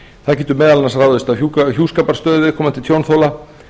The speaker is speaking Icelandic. það getur meðal annars ráðist af hjúskaparstöðu viðkomandi tjónþola